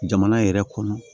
Jamana yɛrɛ kɔnɔ